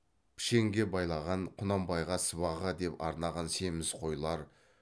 пішенге байлаған құнанбайға сыбаға деп арнаған семіз қойлар